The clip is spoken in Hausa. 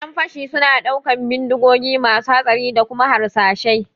ƴan fashi suna ɗaukan bindigogi masu hatsari da kuma harsashai